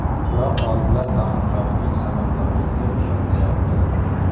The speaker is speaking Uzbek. Biroq olimlar taqinchoqning samaradorligiga ishonmayapti.